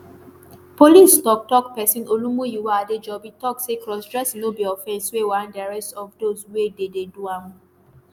police toktok pesin olumuyiwa adejobi tok say crossdressing no be offence wey warrant di arrest of those wey dey dey do am.